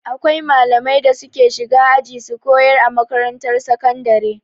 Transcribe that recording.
Akwai malamai da suke shiga aji su kayar a makarantar sakandare.